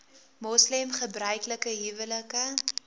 moslem gebruiklike huwelike